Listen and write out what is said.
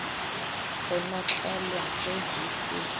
go notlelwa ge di se